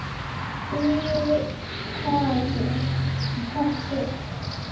Viljiði kaffi?